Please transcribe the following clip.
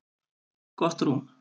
Gott rúm